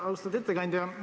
Austatud ettekandja!